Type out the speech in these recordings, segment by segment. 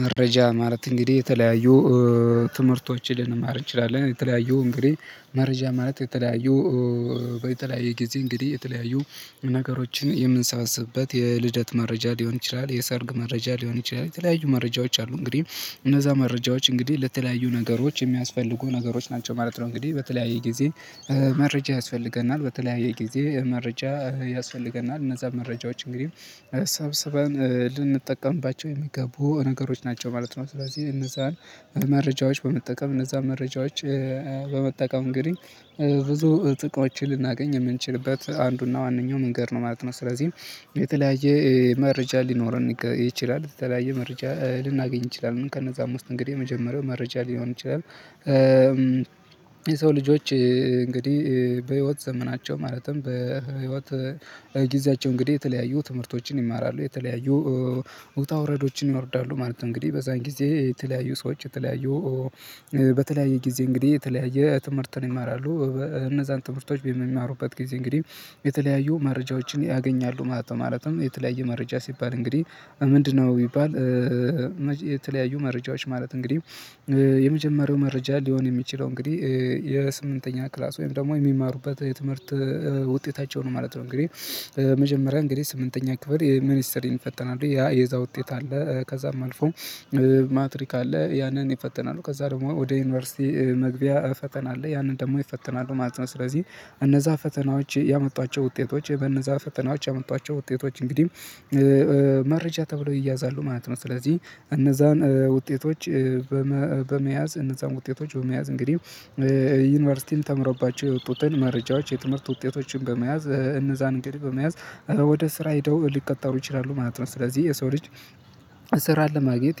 መረጃ ማለት እንግዲህ የተለያዩ ትምህርቶችን ልንማር እንችላለን የተለያዩ እንግዲህ መረጃ ማለት የተለያዩ በተለያየ ጊዜ እንግዲህ የተለያዩ ነገሮችን የምንሰበስብበት የልደት መረጃ ሊሆን ይችላል፣ የሰርግ መረጃ ሊሆን ይችላል የተለያዩ መረጃዎች አሉ እንግዲህ እነዛ መረጃዎች እንግዲህ ለተለያዩ ነገሮች የሚያስፈልጉ ነገሮች ናቸው ማለት ነው እንግዲህ። በተለያየ ጊዜ መረጃ ያስፈልገናል። በተለያየ ጊዜ መረጃ ያስፈልገናል። እነዛን መረጃዎች እንግዲህ ሰብስበን ልንጠቀምባቸው የሚገቡ ነገሮች ናቸው ማለት ነው። ስለዚህ እነዛን መረጃዎች በመጠቀም እነዛን መረጃዎች በመጠቀም እንግዲህ ብዙ ጥቅሞችን ልናገኝ የምንችልበት አንዱ እና ዋነኛው መንገድ ነው ማለት ነው። ስለዚህ የተለያየ መረጃ ሊኖረን ይችላል። የተለያየ መረጃ ልናገኝ እንችላለን። ከነዛም ውስጥ እንግዲህ የመጀመሪያው መረጃ ሊሆን ይችላል። የሰው ልጆዎች እንግዲህ በህይወት ዘመናቸው ማለትም በህይወት ጊዜያቸው እንግዲህ የተለያዩ ትምህርቶችን ይማራሉ። የተለያዩ ውጣ ውረዶችን ይወርዳሉ ማለት ነው። እንግዲህ በዛን ጊዜ የተለያዩ ሰዎች የተለያዩ በተለያየ ጊዜ እንግዲህ የተለያየ ትምህርትን ይማራሉ። እነዛን ትምህርቶች በሚማሩበት ጊዜ እንግዲህ የተለያዩ መረጃዎችን ያገኛሉ ማለት ነው። ማለትም የተለያየ መረጃ ሲባል እንግዲህ ምንድነው ቢባል የተለያዩ መረጃዎች ማለት እንግዲህ የመጀመሪያው መረጃ ሊሆን የሚችለው እንግዲህ የስምንተኛ ክላስ ወይም ደግሞ የሚማሩበት የትምህርት ውጤታቸው ነው ማለት ነው። እንግዲህ መጀመሪያ እንግዲህ ስምንተኛ ክፍል የሚኒስትሪ ይፈተናሉ ያ የዛ ውጤት አለ። ከዛም አልፎ ማትሪክ አለ ያንን ይፈተናሉ። ከዛ ደግሞ ወደ ዩኒቨርሲቲ መግቢያ ፈተና አለ ያንን ደግሞ ይፈተናሉ ማለት ነው። ስለዚህ እነዛ ፈተናዎች ያመጧቸው ውጤቶች በእነዛ ፈተናዎች ያመጧቸው ውጤቶች እንግዲህ መረጃ ተብሎ ይያዛሉ ማለት ነው። ስለዚህ እነዛን ውጤቶች በመያዝ እነዛን ውጤቶች በመያዝ እንግዲህ ዩኒቨርሲቲም ተምረውባቸው የወጡትን መረጃዎች የትምህርት ውጤቶችን በመያዝ እነዛን እንግዲህ በመያዝ ወደ ስራ ሄደው ሊቀጠሩ ይችላሉ ማለት ነው። ስለዚህ የሰው ልጅ ስራን ለማግኘት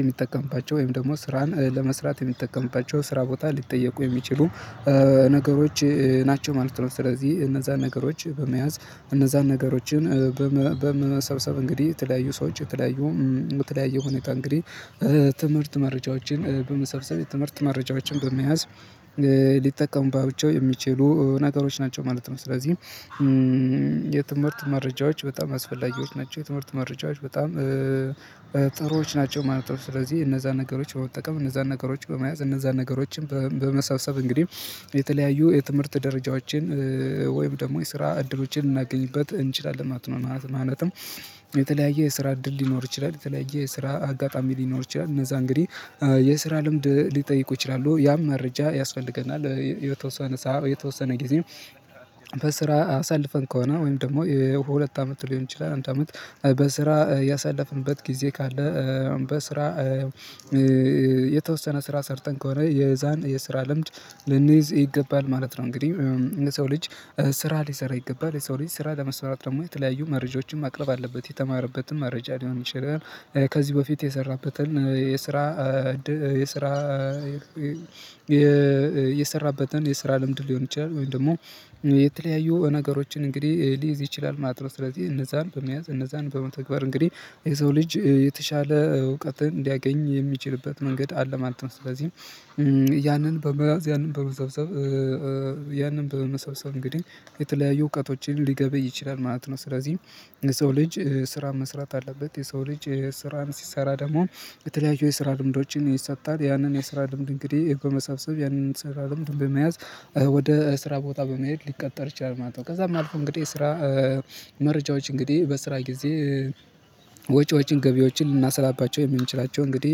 የሚጠቀምባቸው ወይም ደግሞ ስራን ለመስራት የሚጠቀምባቸው ስራ ቦታ ሊጠየቁ የሚችሉ ነገሮች ናቸው ማለት ነው። ስለዚህ እነዛን ነገሮች በመያዝ እነዛን ነገሮችን በመሰብሰብ እንግዲህ የተለያዩ ሰዎች የተለያዩ በተለያየ ሁኔታ እንግዲህ ትምህርት መረጃዎችን በመሰብሰብ ትምህርት መረጃዎችን በመያዝ ሊጠቀሙባቸው የሚችሉ ነገሮች ናቸው ማለት ነው። ስለዚህ የትምህርት መረጃዎች በጣም አስፈላጊዎች ናቸው። የትምህርት መረጃዎች በጣም ጥሩዎች ናቸው ማለት ነው። ስለዚህ እነዛን ነገሮች በመጠቀም እነዛን ነገሮች በመያዝ እነዛን ነገሮችን በመሰብሰብ እንግዲህ የተለያዩ የትምህርት ደረጃዎችን ወይም ደግሞ የስራ እድሎችን ልናገኝበት እንችላለን ማለት ነው። ማለትም የተለያየ የስራ እድል ሊኖር ይችላል የተለያየ የስራ አጋጣሚ ሊኖር ይችላል። እነዛ እንግዲህ የስራ ልምድ ሊጠይቁ ይችላሉ ያም መረጃ ያስፈልገናል የተወሰነ ሰዓት የተወሰነ ጊዜ በስራ አሳልፈን ከሆነ ወይም ደግሞ ሁለት አመት ሊሆን ይችላል አንድ አመት በስራ ያሳለፍንበት ጊዜ ካለ በስራ የተወሰነ ስራ ሰርተን ከሆነ የዛን የስራ ልምድ ልንይዝ ይገባል ማለት ነው። እንግዲህ የሰው ልጅ ስራ ሊሰራ ይገባል ስራ ለመስራት ደግሞ የተለያዩ መረጃዎችን ማቅረብ አለበት የተማረበትን መረጃ ሊሆን ይችላል ከዚህ በፊት የሰራበትን የስራ የስራ ልምድ ሊሆን ይችላል ወይም ደግሞ የተለያዩ ነገሮችን እንግዲህ ሊይዝ ይችላል። ማለት ነው ስለዚህ እነዛን በመያዝ እነዛን በመተግበር እንግዲህ የሰው ልጅ የተሻለ እውቀትን ሊያገኝ የሚችልበት መንገድ አለ ማለት ነው። ስለዚህ ያንን በመያዝ ያንን በመሰብሰብ ያንን በመሰብሰብ እንግዲህ የተለያዩ እውቀቶችን ሊገበይ ይችላል ማለት ነው። ስለዚህ የሰው ልጅ ስራ መስራት አለበት የሰው ልጅ ስራን ሲሰራ ደግሞ የተለያዩ የስራ ልምዶችን ይሰጣል ያንን የስራ ልምድ እንግዲህ በመሰብሰብ ያንን የስራ ልምድ በመያዝ ወደ ስራ ቦታ በመሄድ ሊቀጠር ይችላል ማለት ነው። ከዛም አልፎ እንግዲህ ስራ መረጃዎች እንግዲህ በስራ ጊዜ ወጪዎችን ገቢዎችን ልናሰላባቸው የምንችላቸው እንግዲህ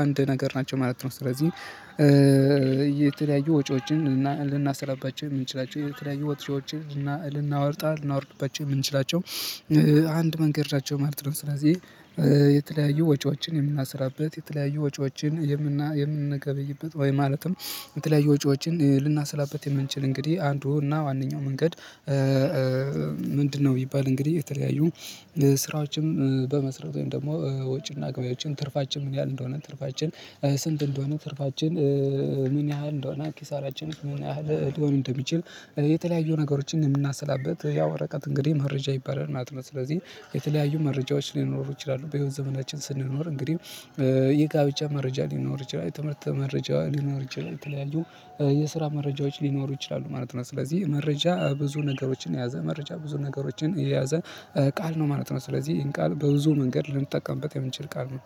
አንድ ነገር ናቸው ማለት ነው። ስለዚህ የተለያዩ ወጪዎችን ልናሰላባቸው የምንችላቸው የተለያዩ ወጪዎችን ልናወጣ ልናወርድባቸው የምንችላቸው አንድ መንገድ ናቸው ማለት ነው። ስለዚህ የተለያዩ ወጪዎችን የምናሰላበት የተለያዩ ወጪዎችን የምን የምንገበይበት ወይ ማለትም የተለያየ ወጪዎችን ልናሰላበት የምንችል እንግዲህ አንዱ እና ዋነኛው መንገድ ምንድነው ቢባል እንግዲህ የተለያዩ ስራዎችም በመስራት ወይም ደግሞ ወጪ እና ገቢአችን ትርፋችን ምን ያህል እንደሆነ ትርፋችን ስንት እንደሆነ ትርፋችን ምን ያህል እንደሆነ ኪሳራችን ምን ያህል ሊሆን እንደሚችል የተለያዩ ነገሮችን የምናሰላበት ያ ወረቀት እንግዲህ መረጃ ይባረር ማለት ነው። ስለዚህ የተለያዩ መረጃዎች ሊኖሩ ይችላሉ በህይወት ዘመናችን ስንኖር እንግዲህ የጋብቻ መረጃ ሊኖር ይችላል፣ የትምህርት ሊኖር ይችላል የተለያዩ የስራ መረጃዎች ሊኖሩ ይችላሉ ማለት ነው። ስለዚህ መረጃ ብዙ ነገሮችን የያዘ መረጃ ብዙ ነገሮችን የያዘ ቃል ነው ማለት ነው። ስለዚህ ይሄን ቃል በብዙ መንገድ ልንጠቀምበት የምንችል ቃል ነው።